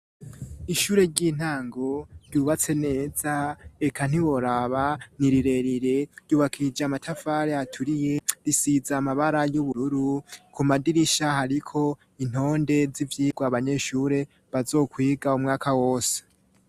Ishure ry'intango ryubatse neza reka ntiboraba nirirerire ryubakishije amatafare aturiye risiza amabara y'ubururu ku madirisha hariko intonde z'ivyirwa abanyeshure bazokwiga umwaka wose.